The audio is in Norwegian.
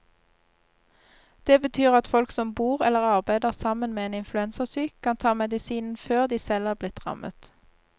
Det betyr at folk som bor eller arbeider sammen med en influensasyk, kan ta medisinen før de selv er blitt rammet.